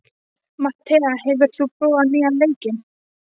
Mattea, hefur þú prófað nýja leikinn?